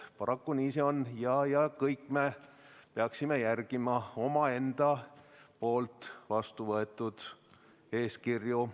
Paraku nii see on, kõik me peaksime järgima omaenda poolt vastu võetud eeskirju.